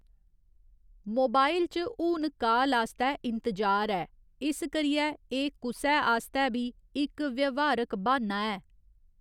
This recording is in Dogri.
मोबाइल च हून काल आस्तै इंतजार ऐ, इस करियै एह्‌‌ कुसै आस्तै बी इक व्यवहारक बाह्‌न्ना ऐ।